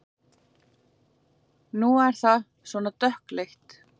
Nú er það svona dökkleitt!